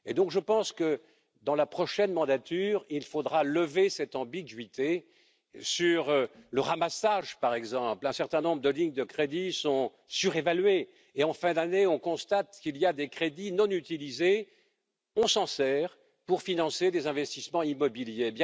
Je pense donc que, dans la prochaine mandature, il faudra lever cette ambiguïté sur le ramassage, par exemple un certain nombre de lignes de crédit sont surévaluées et en fin d'année nous constatons qu'il y a des crédits non utilisés, qui servent à financer des investissements immobiliers.